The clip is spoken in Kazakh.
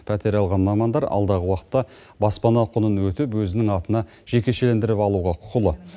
пәтер алған мамандар алдағы уақытта баспана құнын өтеп өзінің атына жекешелендіріп алуға құқылы